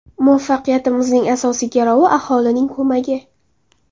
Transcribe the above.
Muvaffaqiyatimizning asosiy garovi aholining ko‘magi.